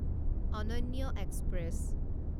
অনন্য এক্সপ্ৰেছ